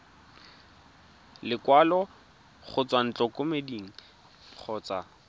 lekwalo go tswa ntlokemeding kgotsa